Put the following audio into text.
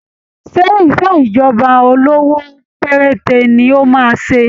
Ṣé ìṣèjọba olówó péréte ní ó máa ṣe?